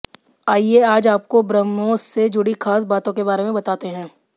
आइए आज आपको ब्रह्मोस से जुड़ी खास बातों के बारे में बताते हैं